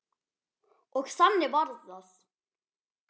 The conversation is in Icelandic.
Og þannig varð það.